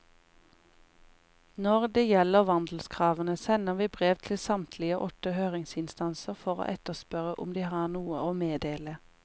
Når det gjelder vandelskravene, sender vi brev til samtlige åtte høringsinstanser for å etterspørre om de har noe å meddele.